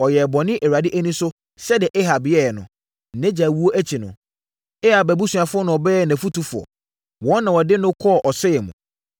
Ɔyɛɛ bɔne Awurade ani so sɛdeɛ Ahab yɛeɛ no. Nʼagya wuo akyi no, Ahab abusuafoɔ na wɔbɛyɛɛ nʼafotufoɔ. Wɔn na wɔde no kɔɔ ɔsɛeɛ mu.